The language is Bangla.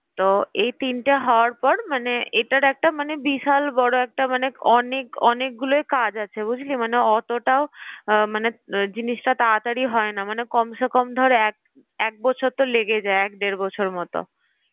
তো এই তিনটে হওয়ার পর মানে এটার একটা মানে বিশাল বড় একটা মানে অনেক অনেক গুলো কাজ আছে বুঝলি মানে অতটাও মানে জিনিসটা তাড়াতাড়ি হয় না মানে কমসেকম ধর এক বছর তো লেগে যায় মানে এক দেড় বছর মত।